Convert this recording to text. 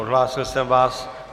Odhlásil jsem vás.